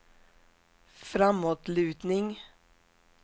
framåtlutning